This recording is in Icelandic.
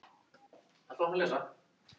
Tíminn hættur að líða.